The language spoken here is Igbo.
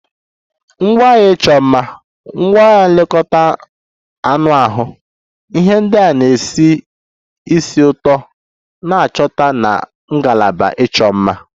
Ngwaahịa ịchọ mma, ngwaahịa nlekọta anụ ahụ, ihe ndị na-esi ísì ụtọ na-achọta na ngalaba ịchọ mma